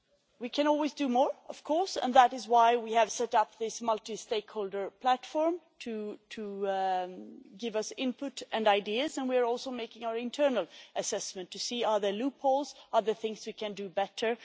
We can always do more, of course, and that is why we have set up this multi stakeholder platform to give us input and ideas, and we are also carrying out an internal assessment to see whether there are loopholes or things we can do better.